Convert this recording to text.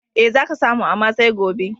E, za ka samu, amma sai gobe.